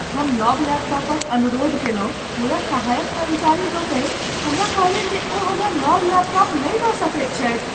हम नव लैपटॉपक अनुरोध कयलहुँ मुदा सहायक कर्मचारी लोकनि हमरा कहलनि जे ओ हमरा नव लैपटाप नहि दऽ सकैत छथि।